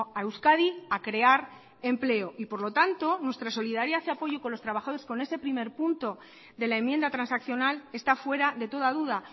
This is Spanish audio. a euskadi a crear empleo y por lo tanto nuestra solidaridad y apoyo con los trabajadores con ese primer punto de la enmienda transaccional está fuera de toda duda